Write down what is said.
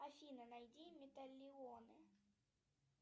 афина найди металлионы